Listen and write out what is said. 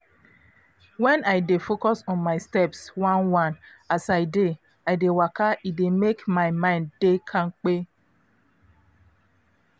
when i dey focus on my steps one-one as i dey i dey waka e dey make my mind dey kampe.